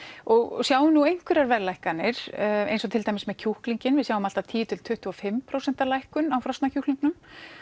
og sjáum nú einhverjar verðlækkanir eins og til dæmis með kjúklinginn við sjáum allt að tíu til tuttugu og fimm prósent lækkun á frosna kjúklingnum